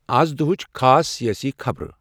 آز دۄہٕچ خاص سیٲسی خبرٕ